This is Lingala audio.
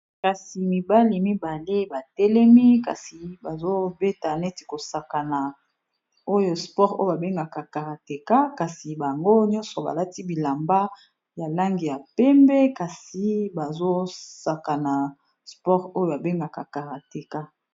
kasi mibale mibale batelemi kasi bazobeta neti kosakana oyo sport oyo babengaka karateka kasi bango nyonso balati bilamba ya langi ya pembe kasi bazosaka na sport oyo babengaka karateka